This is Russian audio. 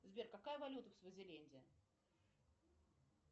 сбер какая валюта в свазиленде